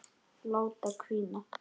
Láta hvína.